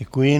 Děkuji.